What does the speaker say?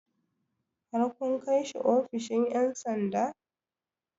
Har kun kai shi ofishin ƴan sanda?